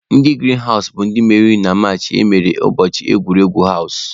Ndị girin hawụs bụ ndị meriri na machin emere ụbọchị egwuregwu hawụs.